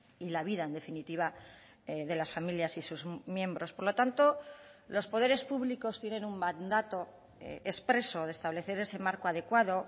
y la vida en definitiva de las familias y sus miembros por lo tanto los poderes públicos tienen un mandato expreso de establecer ese marco adecuado